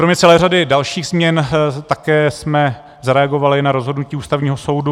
Kromě celé řady dalších změn jsme také zareagovali na rozhodnutí Ústavního soudu.